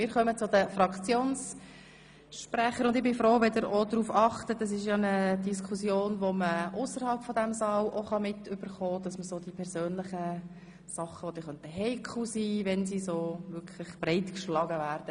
Wir kommen zu den Fraktionssprechern, und ich bin froh, wenn Sie in Ihren Voten auf persönliche Dinge verzichten, die heikel sein können, wenn sie breitgeschlagen werden.